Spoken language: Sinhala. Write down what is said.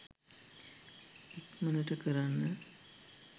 ඉක්මනට කරන්න